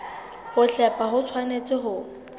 ho hlepha ho tshwanetse ho